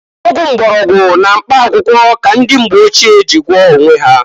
Ọgwụ mgbọrọgwụ na mkpa akwụkwọ ka ndị mgbe ochie ji gwoọọ onwe ha.